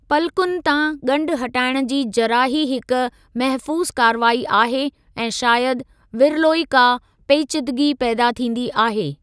पलकुनि तां गंढु हटाइणु जी जराही हिकु महफ़ूज़ु कारवाई आहे ऐं शायदि विरलो ई का पेचीदगी पैदा थींदी आहे।